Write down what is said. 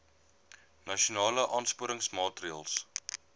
nasionale aansporingsmaatre ls